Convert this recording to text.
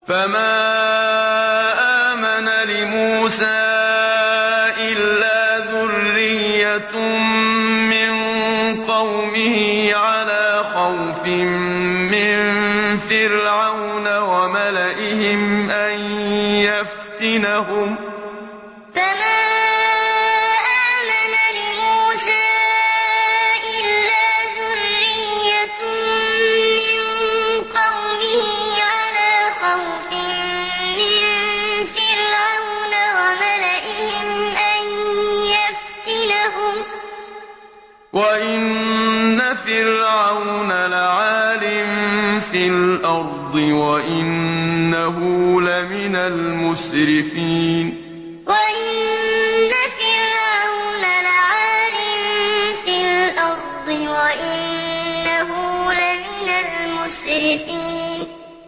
فَمَا آمَنَ لِمُوسَىٰ إِلَّا ذُرِّيَّةٌ مِّن قَوْمِهِ عَلَىٰ خَوْفٍ مِّن فِرْعَوْنَ وَمَلَئِهِمْ أَن يَفْتِنَهُمْ ۚ وَإِنَّ فِرْعَوْنَ لَعَالٍ فِي الْأَرْضِ وَإِنَّهُ لَمِنَ الْمُسْرِفِينَ فَمَا آمَنَ لِمُوسَىٰ إِلَّا ذُرِّيَّةٌ مِّن قَوْمِهِ عَلَىٰ خَوْفٍ مِّن فِرْعَوْنَ وَمَلَئِهِمْ أَن يَفْتِنَهُمْ ۚ وَإِنَّ فِرْعَوْنَ لَعَالٍ فِي الْأَرْضِ وَإِنَّهُ لَمِنَ الْمُسْرِفِينَ